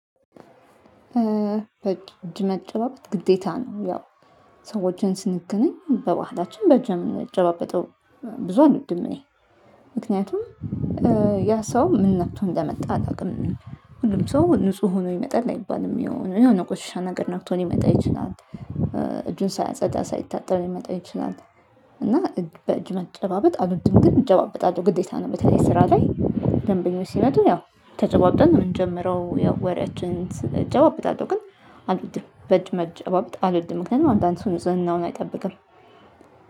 እጅ መጨባበጥ ግዴታ ነው። ያው ሰዎችን ስንገናኝ በባህላችን በእጅ የምንጨባበጠው ብዙ አልውድም። እኔ ምክንያቱም ያ ሰው ምን ነክቶ እንደመጣ አላውቅም። ምንም ሰው ንጹህ ሆኖ ይመጣል አይባልም የሆነ ቆሻሻ ነገር ነክቶ ሊመጣ ይችላል። ሳያጸዳ ሳይታጠብ ይመጣል ይችላል። እና በእጅ መጨባበጥ አሉትም ግን መጨባበጥ አለው ግዴታ ነው። በተለይ ስራ ላይ ደንበኞች ሲመጡ ያው ተጨባብጠን የምንጀምረው ወሬያችን እጨባበጣለሁ። ግን አልወድም በእጅ መጨዋብጥ አልወድም። ምክንያቱም አንዳንድ ሰው ንጽህናውን አይጠብቅም።